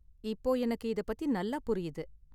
இப்போ எனக்கு இத பத்தி நல்லா புரியுது.